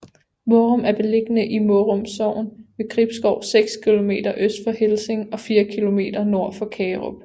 Mårum er beliggende i Mårum Sogn ved Gribskov seks kilometer øst for Helsinge og fire kilometer nord for Kagerup